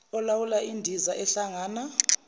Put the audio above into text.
olawula indiza ehlangana